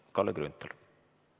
Kalle Grünthal!